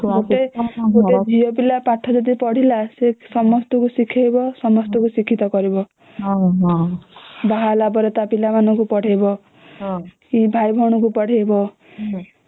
ଗୋଟେ ଝିଅ ପିଲା ପାଠ ଯଦି ପଢିଲା ସେ ସମସ୍ତଙ୍କୁ ଶିଖେଇବା ସମସ୍ତଙ୍କୁ ଶିକ୍ଷିତ କରିବ ବାହା ହେଲା ପରେ ତା ପିଲା ମାନଙ୍କୁ ପଢେଇବ କି ଭାଇ ଭଉଣୀକୁ ପଢେଇବ